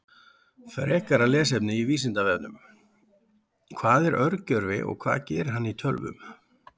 Frekara lesefni af Vísindavefnum: Hvað er örgjörvi og hvað gerir hann í tölvum?